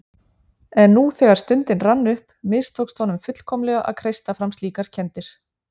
En nú þegar stundin rann upp mistókst honum fullkomlega að kreista fram slíkar kenndir.